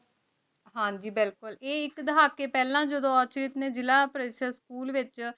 ਹਨ ਜੀ ਬਿਲਕੁਲ ਆਯ ਆਇਕ ਦੇਹਾਤੀ ਫਲਾਂ ਜਿਦੁਨ ਅਖਿਲ ਨੀ ਜ਼ਿਲਾ ਪਰ੍ਸ੍ਤੇਸ school ਵੇਚ